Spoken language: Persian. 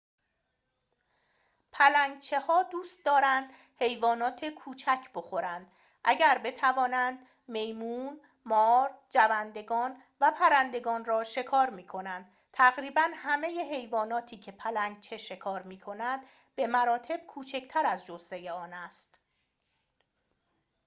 پلنگچه‌ها دوست دارند حیوانات کوچک بخورند اگر بتوانند میمون مار جوندگان و پرندگان را شکار می‌کنند تقریباً همه حیواناتی که پلنگچه شکار می‌کند به مراتب کوچکتر از جثه آن است